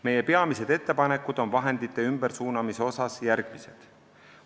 Meie peamised ettepanekud vahendite ümbersuunamiseks on järgmised.